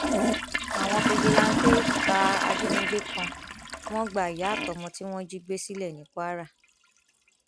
àwọn fijilanté pa ajínigbé kan wọn gba ìyá àtọmọ tí wọn jí gbé sílẹ ní kwara